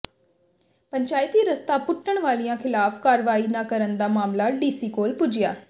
ਪੰਚਾਇਤੀ ਰਸਤਾ ਪੁੱਟਣ ਵਾਲਿਆਂ ਖ਼ਿਲਾਫ਼ ਕਾਰਵਾਈ ਨਾ ਕਰਨ ਦਾ ਮਾਮਲਾ ਡੀਸੀ ਕੋਲ ਪੁੱਜਿਆ